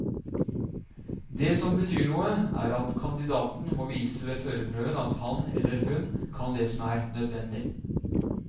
Det som betyr noe, er at kandidaten må vise ved førerprøven at han eller hun kan det som er nødvendig.